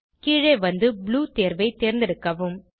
கீழே வந்து ப்ளூ தேர்வை தேர்ந்தெடுக்கவும்